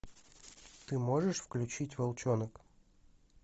ты можешь включить волчонок